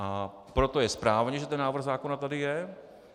A proto je správně, že ten návrh zákona tady je.